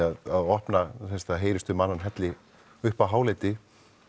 að opna það heyrist um annan helli upp á hálendi